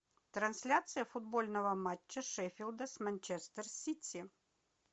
трансляция футбольного матча шеффилда с манчестер сити